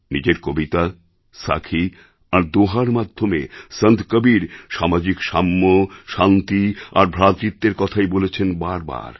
নিজেরকবিতা সাখি আর দোঁহার মাধ্যমে সন্ত কবীর সামাজিক সাম্য শান্তি আর ভ্রাতৃত্বের কথাই বলেছেন বারে বারে